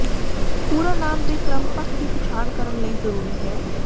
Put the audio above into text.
ਪੂਰਾ ਨਾਮ ਦੇ ਕ੍ਰਮ ਪੱਖ ਦੀ ਪਛਾਣ ਕਰਨ ਲਈ ਜ਼ਰੂਰੀ ਹੈ